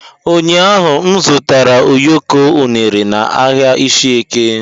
ụnyahụ m zụtara ụyọkọ unere na ahịa ishieke.